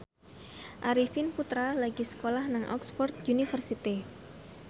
Arifin Putra lagi sekolah nang Oxford university